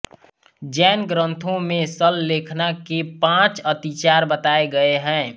जैन ग्रंथो में सल्लेखना के पाँच अतिचार बताये गए हैं